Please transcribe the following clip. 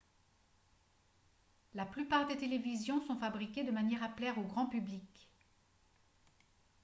la plupart des télévisions sont fabriquées de manière à plaire au grand public